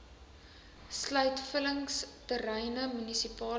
sluit vullingsterreine munisipale